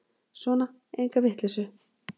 Sona, enga vitleysu.